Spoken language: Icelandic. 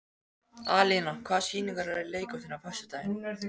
Alína, hvaða sýningar eru í leikhúsinu á föstudaginn?